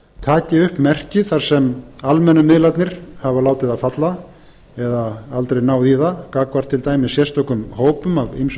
taki upp merki þar sem almennu miðlarnir hafa látið það falla eða aldrei náð í það gagnvart til dæmis sérstökum hópum af